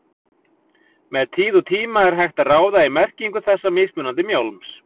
Með tíð og tíma er hægt að ráða í merkingu þessa mismunandi mjálms.